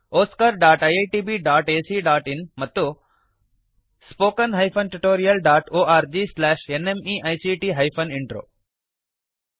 oscariitbacಇನ್ ಮತ್ತು spoken tutorialorgnmeict intro